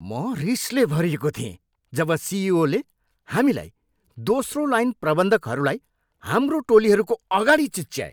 म रिसले भरिएको थिएँ जब सिइओले हामीलाई, दोस्रो लाइन प्रबन्धकहरूलाई, हाम्रो टोलीहरूको अगाडि चिच्याए।